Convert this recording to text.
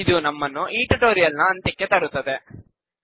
ಇದು ನಮ್ಮ ನ್ನು ಈ ಟ್ಯುಟೋರಿಯಲ್ ನ ಅಂತ್ಯಕ್ಕೆ ತರುತ್ತದೆ